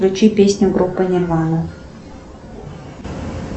включи песню группы нирвана